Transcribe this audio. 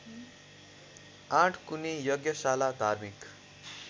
आठकुने यज्ञशाला धार्मिक